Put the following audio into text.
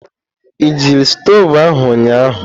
Ị jiri stovu ahụ ụnyahụ?